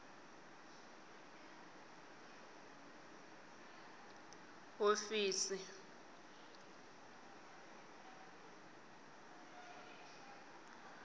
hofisi